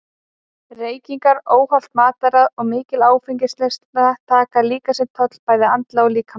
Reykingar, óhollt mataræði og mikil áfengisneysla taka líka sinn toll bæði andlega og líkamlega.